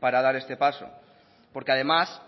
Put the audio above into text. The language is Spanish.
para dar este paso porque además